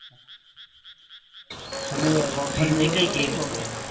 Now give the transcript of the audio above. તમે કઈ ગેમ જોઈ એમાં